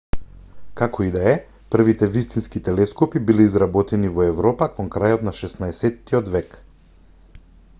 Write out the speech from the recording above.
како и да е првите вистински телескопи биле изработени во европа кон крајот на 16-тиот век